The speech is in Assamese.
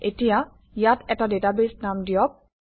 এতিয়া ইয়াত এটা ডাটাবেছ নাম দিয়ক